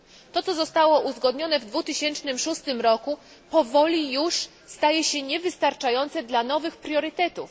To co zostało uzgodnione w 2006 roku powoli już staje się niewystarczające dla nowych priorytetów.